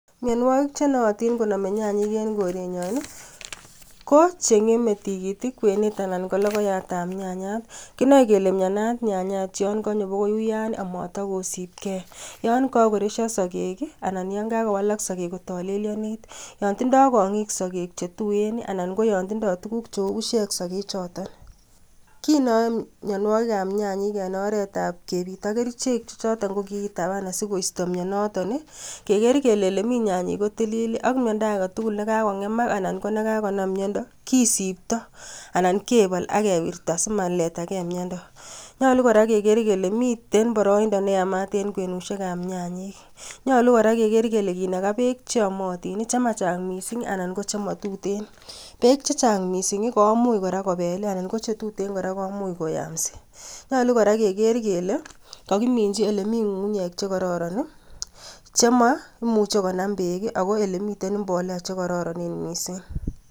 Mionwogik chenootin konome nyanyik en korenyon ii, ko cheng'eme tigitik kwenet anan ko lokoyat ab nyanyat. Kimoe kele mianat nyanyat yon konyo akoi uyan, amatakosipkei yon koresyo sokek anan yan kakowalak sokek kotolelionit. Yon tindo kong'ik sokek chetuen ana yon tindo tuguk cheu busiek sokek choton. Kinyoe mionwogik ab nyanyek en oretab kepiit ak kerichek chechoton kokikitapaan asikoisto mionoton , keker kele yemi nyanyik kotilil ak miondo agetugul nekakong'emak anan ko nekakonam miondo, kisipto anan kebol akewirta asimosipto Kee miondo. Nyolu kora keker kole miten boroindo neyamat en kwenusiek ab nyanyik. Nyolu kora keker kele kinaga peek cheomotin, chemachang' mising anan chemotuten. Peek chechang' mising komuch kora ko peel ana ko chetuten kora komuch koyamsi. Nyolu kora keker kele kokiminchi olemi ng'ung'unyek chekororon. Anan ko elemuche konam peek ala elemi mbolea chekororonen mising.